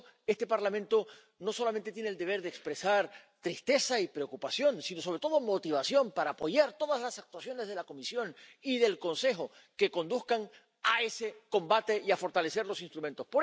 Por eso, este Parlamento no solamente tiene el deber de expresar tristeza y preocupación sino, sobre todo, motivación para apoyar todas las actuaciones de la Comisión y del Consejo que conduzcan a ese combate y a fortalecer los instrumentos.